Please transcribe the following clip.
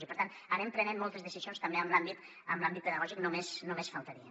i per tant anem prenent moltes decisions també en l’àmbit pedagògic només faltaria